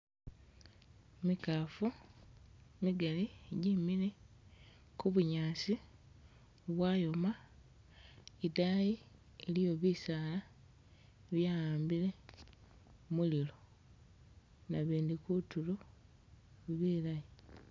Mikaafu migaali jemile ku bunyaasi bwayoma idaayi iliyo bisaala bya'ambile mulilo, nabindi kutulo bilayi.